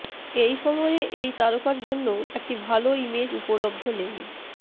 এই সময়ে এই তারকা জন্য একটি ভাল ইমেজ উপলব্ধ নেই